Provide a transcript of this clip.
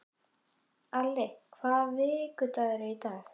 Alli, hvaða vikudagur er í dag?